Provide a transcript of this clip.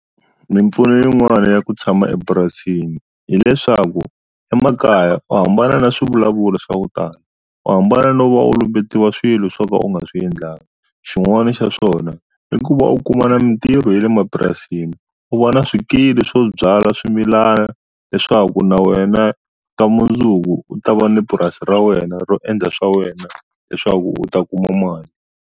Mimpfuno yin'wana ya ku tshama epurasini hileswaku emakaya u hambana na swivulavulo swa ku tala u hambana no va u lumbetiwa swilo swo ka u nga swi endlangi xin'wani xa swona i ku va u kumana mintirho ye le mapurasini u va na swikili swo byala swimilana leswaku na wena ka mundzuku u ta va ni purasi ra wena ro endla swa wena leswaku u ta kuma mali.